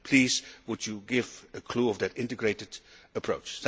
Please would you give a clue about that integrated approach?